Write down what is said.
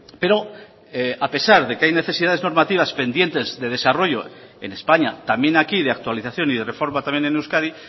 pero a pesar de que hay necesidades normativas pendientes de desarrollo en españa también aquí de actualización y de reforma también en euskadi